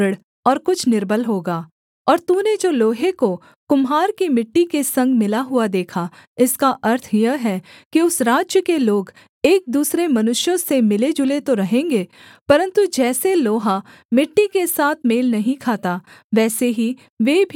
और तूने जो लोहे को कुम्हार की मिट्टी के संग मिला हुआ देखा इसका अर्थ यह है कि उस राज्य के लोग एक दूसरे मनुष्यों से मिलेजुले तो रहेंगे परन्तु जैसे लोहा मिट्टी के साथ मेल नहीं खाता वैसे ही वे भी एक न बने रहेंगे